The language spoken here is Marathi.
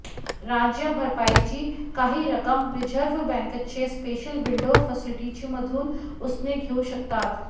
राज्यं भरपाईची काही रक्कम रिझर्व्ह बँकेच्या स्पेशल विंडो फॅसिलिटीमधून उसने घेऊ शकतात